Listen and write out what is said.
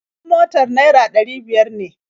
Kuɗin motar naira ɗari biyar ne